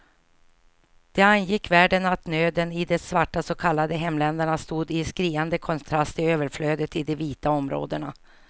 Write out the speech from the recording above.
Det angick världen att nöden i de svarta så kallade hemländerna stod i skriande kontrast till överflödet i de vita områdena.